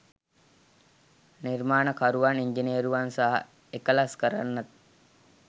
නිර්මාණකරුවන්, ඉංජිනේරුවන් සහ එකලස් කරන්නන්